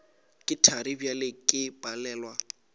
ke thari bjale ke palelwa